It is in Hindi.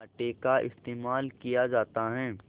आटे का इस्तेमाल किया जाता है